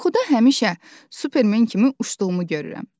Yuxuda həmişə Superman kimi uçduğumu görürəm.